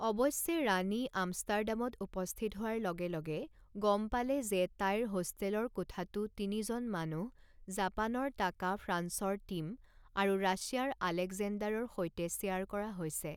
অৱশ্যে ৰাণী আমষ্টাৰডামত উপস্থিত হোৱাৰ লগে লগে গম পালে যে তাইৰ হোষ্টেলৰ কোঠাটো তিনিজন মানুহ জাপানৰ টাকা ফ্ৰান্সৰ টিম আৰু ৰাছিয়াৰ অলেকজেণ্ডাৰৰ সৈতে শ্বেয়াৰ কৰা হৈছে।